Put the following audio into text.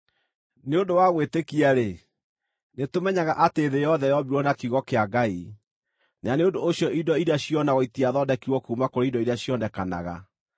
Nĩ ũndũ wa gwĩtĩkia-rĩ, nĩtũmenyaga atĩ thĩ yothe yombirwo na kiugo kĩa Ngai, na nĩ ũndũ ũcio indo iria cionagwo itiathondekirwo kuuma kũrĩ indo iria cionekanaga.